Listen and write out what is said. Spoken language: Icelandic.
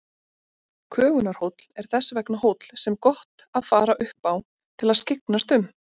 Kögunarhóll er þess vegna hóll sem gott að fara upp á til að skyggnast um.